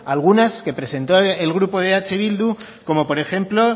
algunas que presentó el grupo de eh bildu como por ejemplo